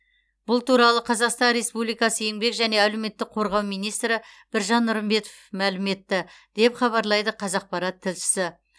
бұл туралы қазақстан республикасы еңбек және әлеуметтік қорғау министрі біржан нұрымбетов мәлім етті деп хабарлайды қазақпарат тілшісі